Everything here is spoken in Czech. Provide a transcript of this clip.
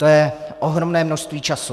To je ohromné množství času.